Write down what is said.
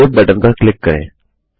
अब save button पर click करें